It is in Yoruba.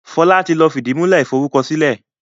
Fola tí lọ fìdìmúlẹ́ iforúkọsílẹ̀